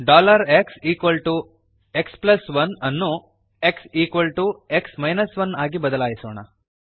xx1 ಅನ್ನು xx 1 ಆಗಿ ಬದಲಾಯಿಸೋಣ